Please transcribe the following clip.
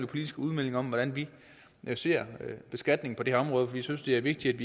politiske udmeldinger om hvordan vi vi ser beskatningen på det her område vi synes det er vigtigt